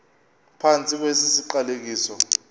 phantsi kwesi siqalekiso